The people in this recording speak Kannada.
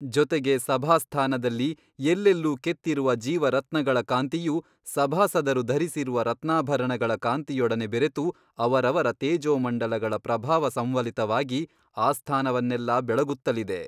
ಜೊತೆಗೆ ಸಭಾಸ್ಥಾನದಲ್ಲಿ ಎಲ್ಲೆಲ್ಲೂ ಕೆತ್ತಿರುವ ಜೀವರತ್ನಗಳ ಕಾಂತಿಯು ಸಭಾಸದರು ಧರಿಸಿರುವ ರತ್ನಾಭರಣಗಳ ಕಾಂತಿಯೊಡನೆ ಬೆರೆತು ಅವರವರ ತೇಜೋಮಂಡಲಗಳ ಪ್ರಭಾವಸಂವಲಿತವಾಗಿ ಆಸ್ಥಾನವನ್ನೆಲ್ಲಾ ಬೆಳಗುತ್ತಲಿದೆ.